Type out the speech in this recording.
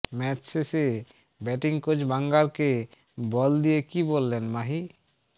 match শেষে batting coach বাঙ্গারকে বল দিয়ে কী বললেন মাহি